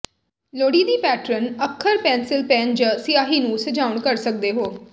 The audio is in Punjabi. ਲੋੜੀਦੀ ਪੈਟਰਨ ਅੱਖਰ ਪੈਨਸਿਲ ਪੈਨ ਜ ਸਿਆਹੀ ਨੂੰ ਸਜਾਉਣ ਕਰ ਸਕਦੇ ਹੋ